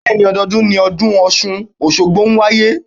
Bẹ́ẹ̀ni, ọdọọdún ni ọdún Ọ̀ṣun Òṣogbo ń wáyé.